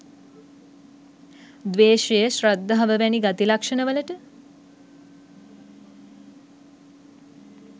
ද්වේෂය, ශ්‍රද්ධාව වැනි ගති ලක්ෂණවලට